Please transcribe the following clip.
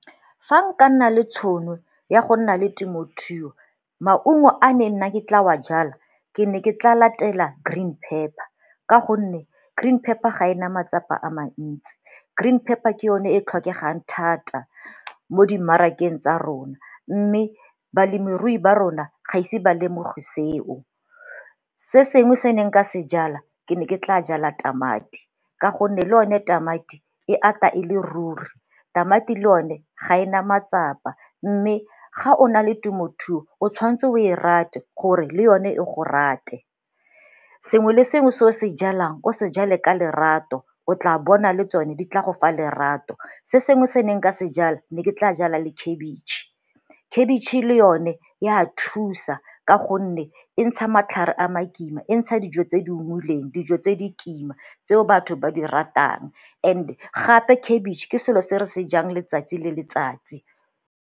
Fa nka nna le tšhono ya go nna le temothuo maungo a ne nna ke tla wa jala ke ne ke tla latela green pepper ka gonne green pepper ga e na matsapa a mantsi, green pepper ke yone e tlhokegang thata mo dimarakeng tsa rona mme balemirui ba rona ga ise ba lemoge seo. Se sengwe se nka se jala ke ne ke tla jala tamati ka gonne le one tamati e ata e le ruri, tamati yone ga e na matsapa mme ga o na le temothuo o tshwanetse o e rate gore le yone e go rate. Sengwe le sengwe se o se jalang ko se jale ka lerato o tla bona le tsone di tla go fa lerato. Se sengwe se ne nka se jala ne ke tla jala le khebitšhe, khebitšhe le yone e a thusa ka gonne e ntsha matlhare a makima, e ntsha dijo tse di ungwileng dijo tse di kima tseo batho ba di ratang and gape khebitšhe ke selo se re se jang letsatsi le letsatsi.